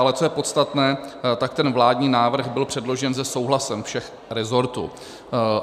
Ale co je podstatné, tak ten vládní návrh byl předložen se souhlasem všech rezortů.